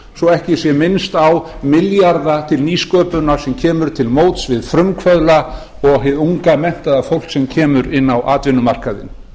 svo ekki sé minnst á milljarða til nýsköpunar sem kemur til móts við frumkvöðla og hið unga menntaða fólk sem kemur inn á atvinnumarkaðinn